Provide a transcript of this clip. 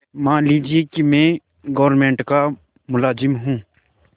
मान लीजिए कि मैं गवर्नमेंट का मुलाजिम हूँ